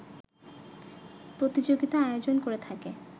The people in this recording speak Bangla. প্রতিযোগিতা আয়োজন করে থাকে